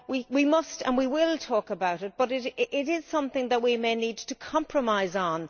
We must and we will talk about it, but it something that we may need to compromise on.